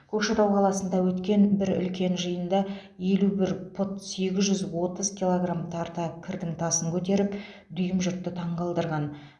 көкшетау қаласында өткен бір үлкен жиында елу бір пұт сегіз жүз отыз килограмм тарта кірдің тасын көтеріп дүйім жұртты таңғалдырған